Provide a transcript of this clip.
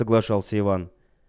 соглашался иван